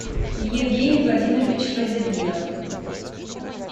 евгений владимирович фазетдинов